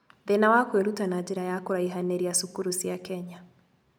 Thĩna wa kwĩruta na njĩra ya kũraihanĩria cukuru cia Kenya